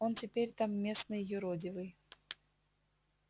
он теперь там местный юродивый